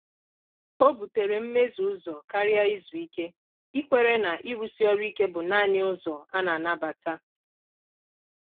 Ọ́ bùtèrè mmézù ụ́zọ kàrị́à ízu íké, íkwèré nà ị́rụ́sí ọrụ́ íké bụ́ nāànị́ ụ́zọ á nà-ànàbàtà.